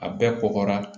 A bɛɛ kɔgɔra